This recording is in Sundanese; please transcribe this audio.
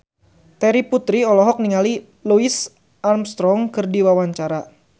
Terry Putri olohok ningali Louis Armstrong keur diwawancara